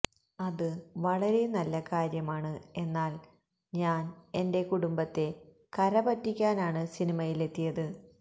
അത് വളരെ നല്ല കാര്യമാണ് എന്നാല് ഞാന് എന്റെ കുടുംബത്തെ കരപ്പറ്റിക്കാനാണ് സിനിമയിലെത്തിയത്